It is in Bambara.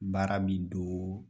Baara b'i doo